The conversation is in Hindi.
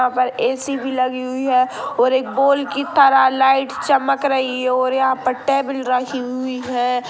यहाँ पर ऐ.सी. भी लगी हुई है और एक बोल की तरह लाइट चमक रही है और यहाँ पर टेबल रखी हुई ई है।